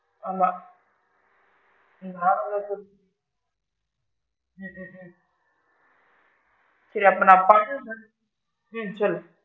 ஆமா ஹம் உம் சேரி அப்ப நான் பண்ணுறேன் ஹம் சொல்லு?